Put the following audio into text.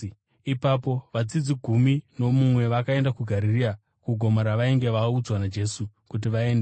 Ipapo vadzidzi gumi nomumwe vakaenda kuGarirea, kugomo ravainge vaudzwa naJesu kuti vaende.